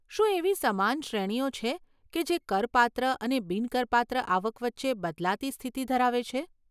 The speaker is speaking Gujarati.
શું એવી સમાન શ્રેણીઓ છે કે જે કરપાત્ર અને બિન કરપાત્ર આવક વચ્ચે બદલાતી સ્થિતિ ધરાવે છે?